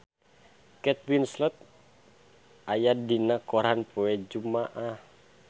Kate Winslet aya dina koran poe Jumaah